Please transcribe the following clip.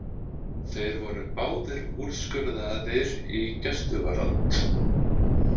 Þeir voru báðir úrskurðaðir í gæsluvarðhald